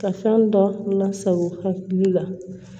Ka fɛn dɔ lasago hakili la